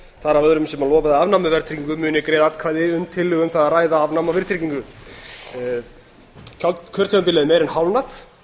af öðrum sem lofaði afnámi á verðtryggingu muni greiða atkvæði um tillögu um það að ræða afnám á verðtryggingu kjörtímabilið er meira en hálfnað